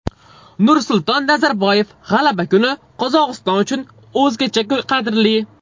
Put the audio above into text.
Nursulton Nazarboyev: G‘alaba kuni Qozog‘iston uchun o‘zgacha qadrli.